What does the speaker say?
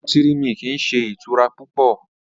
Nútírì-míkí n sẹ̀ itura pupọ̀